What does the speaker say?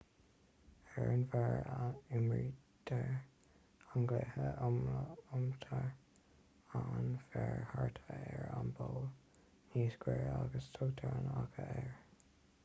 ar an bhféar a imrítear an cluiche lomtar an féar thart ar an bpoll níos giorra agus tugtar an faiche air